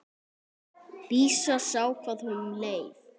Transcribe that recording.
Dísa sá hvað honum leið.